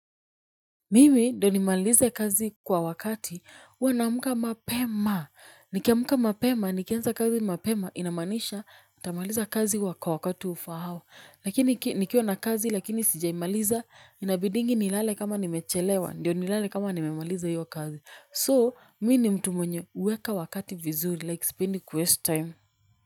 Mimi ndo nimalize kazi kwa wakati. Uwa naamka mapema. Nikiamka mapema, nikianza kazi mapema, inamaanisha, nitamaliza kazi wa kwa wakati ufahao. Lakini nikiwa na kazi, lakini sijaimaliza, inabidingi nilale kama nimechelewa. Ndiyo nilale kama nimemaliza hiyo kazi. So, mi ni mtu mwenye huweka wakati vizuri, like sipendi kuwaste time.